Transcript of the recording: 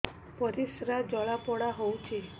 ପରିସ୍ରା ଜଳାପୋଡା ହଉଛି